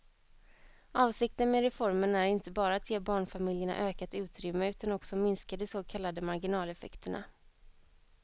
Avsikten med reformen är inte bara att ge barnfamiljerna ökat utrymme utan också minska de så kallade marginaleffekterna.